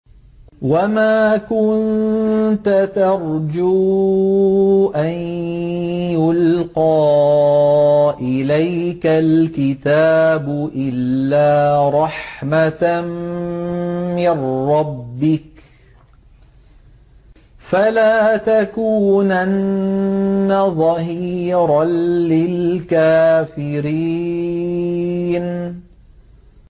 وَمَا كُنتَ تَرْجُو أَن يُلْقَىٰ إِلَيْكَ الْكِتَابُ إِلَّا رَحْمَةً مِّن رَّبِّكَ ۖ فَلَا تَكُونَنَّ ظَهِيرًا لِّلْكَافِرِينَ